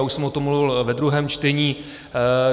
Já už jsem o tom mluvil ve druhém čtení.